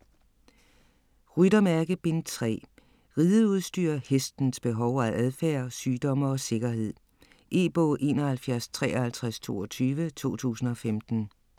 Ryttermærke: Bind 3 Rideudstyr, hestens behov og adfærd, sygdomme og sikkerhed. E-bog 715322 2015.